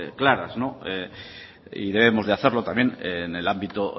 clara no y debemos de hacerlo también en el ámbito